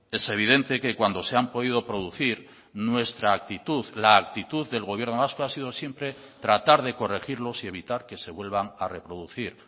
es evidente que cuando se han podido producir nuestra actitud la actitud del gobierno vasco ha sido siempre tratar de corregirlos y evitar que se vuelvan a reproducir